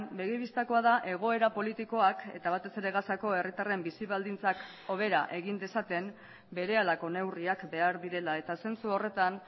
begi bistakoa da egoera politikoak eta batez ere gazako herritarren bizi baldintzak hobera egin dezaten berehalako neurriak behar direla eta zentzu horretan